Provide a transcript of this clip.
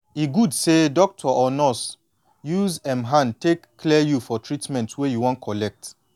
e good say doctor or nurse use em hand take clear you for treatment wey you wan collect